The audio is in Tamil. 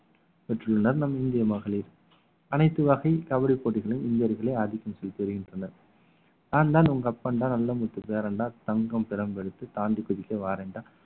பெற்றுள்ளனர் நம் இந்திய மகளிர் அனைத்து வகை கபடி போட்டிகளில் இந்தியர்களே ஆதிக்கம் செலுத்தி வருகின்றனர் நான்தான் உங்க அப்பன்தான் நல்ல முத்து பேரன்டா தங்கம் பிரம்மெடுத்து தாங்கி குதிக்க வாரேன்டா